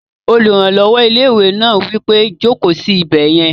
Olùrànlọ́wọ́ ilé-ìwé náà wí pé, "Jòkó sí ibẹ̀ yẹn!"